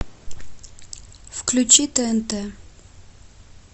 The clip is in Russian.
включи тнт